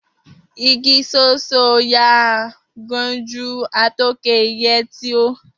Igi so so o ya a gnonenju, a to ke iye e ti hoi.